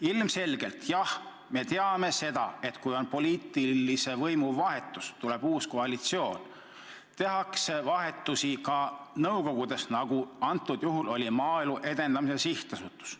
Ilmselgelt, jah, me teame seda, et kui on poliitilise võimu vahetus, tuleb uus koalitsioon, siis tehakse vahetusi ka nõukogudes, nagu on tehtud ka Maaelu Edendamise Sihtasutuses.